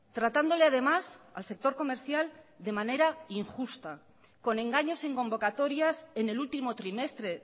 tratándole además al sector comercial de manera injusta con engaños en convocatorias en el último trimestre